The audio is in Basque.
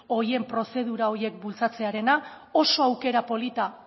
horien prozedura horiek bultzatzearena oso aukera polita